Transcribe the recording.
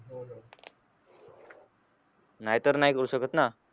नाहीतर नाही करू शकत ना